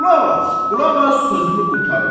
Qulaq as, qulaq as sözümü qurtarım.